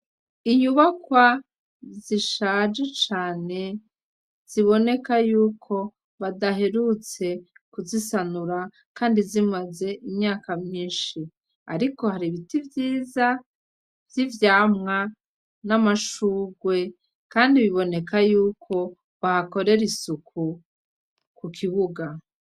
Inyubakwa zishaje cane ziboneka yuko badaherutse kuzisanura kandi zimaze imyaka myinshi, ariko hari ibiti vyiza vyivyamwa n'amashurwe kandi biboneka yuko bahakorera isuku kukibuga.